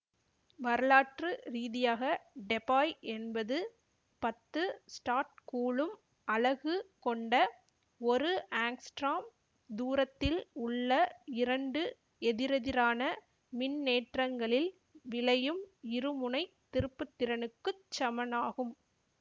வரலாற்று ரீதியாக டெபாய் என்பது பத்து ஸ்டாட்கூலும் அலகு கொண்ட ஒரு ஆங்ஸ்டிராம் தூரத்தில் உள்ள இரண்டு எதிரெதிரான மின்னேற்றங்களில் விளையும் இருமுனை திருப்புத்திறனுக்குச் சமனாகும்